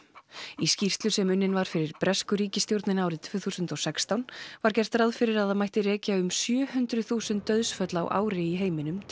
í skýrslu sem unnin var fyrir bresku ríkisstjórnina árið tvö þúsund og sextán var gert ráð fyrir að það mætti rekja um sjö hundruð þúsund dauðsföll á ári í heiminum til